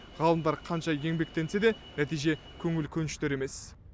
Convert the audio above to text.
ғалымдар қанша еңбектенсе де нәтиже көңіл көншітер емес